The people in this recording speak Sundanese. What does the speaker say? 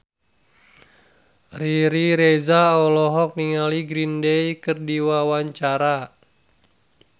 Riri Reza olohok ningali Green Day keur diwawancara